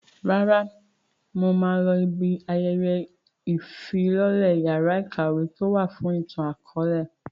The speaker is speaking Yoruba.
Rárá, mo máa lọ ibi ayẹyẹ ìfilọ́lẹ yàrá ìkàwé tíì ó wà fún ìtàn akọ̀ọ̀lẹ